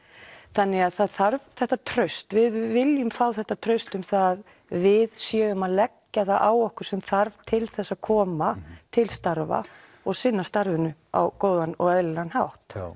þannig að það þarf þetta traust við viljum fá þetta traust um að við séum að leggja það á okkur sem þarf til þess að koma til starfa og sinna starfinu á góðan og eðlilegan hátt